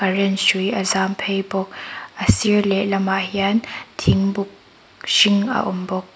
current hrui a zam phei bawk a sir leh lamah hian thingbuk a hring a awm bawk.